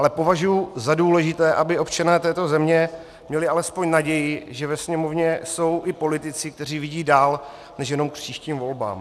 Ale považuji za důležité, aby občané této země měli alespoň naději, že ve Sněmovně jsou i politici, kteří vidí dál než jenom k příštím volbám.